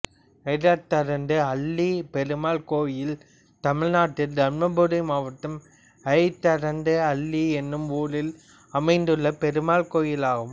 அய்தரண்ட அள்ளி பெருமாள் கோயில் தமிழ்நாட்டில் தர்மபுரி மாவட்டம் அய்தரண்ட அள்ளி என்னும் ஊரில் அமைந்துள்ள பெருமாள் கோயிலாகும்